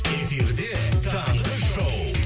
эфирде таңғы шоу